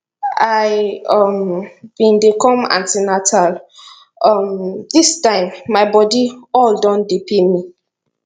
i um bin dey come an ten atal um dis time my body all don dey pain me